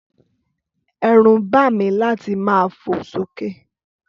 Ẹrún ba mí láti ma fo so ke